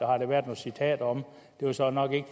har der været nogle citater om det var så nok ikke